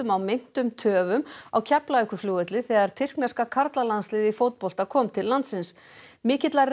á meintum töfum á Keflavíkurflugvelli þegar tyrkneska karlalandsliðið í fótbolta kom til landsins mikillar